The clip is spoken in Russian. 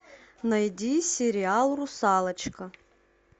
найди сериал русалочка